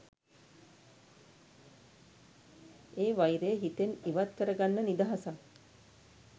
ඒ වෛරය හිතෙන් ඉවත් කරගන්න නිදහසක්.